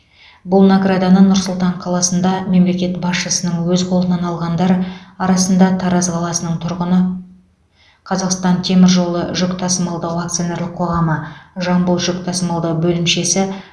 бұл награданы нұр сұлтан қаласында мемлекет басшысының өз қолынан алғандар арасында тараз қаласының тұрғыны қазақстан темір жолы жүк тасымалдау акционерлік қоғамы жамбыл жүк тасымалдау бөлімшесі